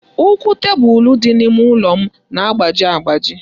Ụkwụ tebụlụ dị n'ime ụlọ m na-agbaji agbaji.